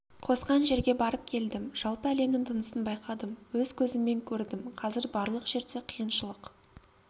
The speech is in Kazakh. қосқан жерге барып келдім жалпы әлемнің тынысын байқадым өз көзіммен көрдім қазір барлық жерде қиыншылық